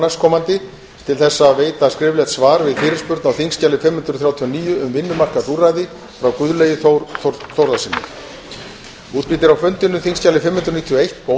næstkomandi til að veita skriflegt svar við fyrirspurn á þingskjali fimm hundruð þrjátíu og níu um vinnumarkaðsúrræði frá guðlaugi þór þórðarsyni